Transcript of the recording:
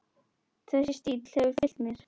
Þessi stíll hefur fylgt mér.